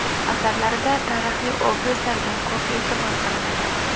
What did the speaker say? Asarlarida tarixiy obrazlarga ko‘p e’tibor qaratadi.